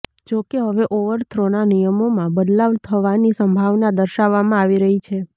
જો કે હવે ઓવર થ્રોના નિયમોમાં બદલાવ થવાની સંભાવના દર્શાવવામાં આવી રહી છે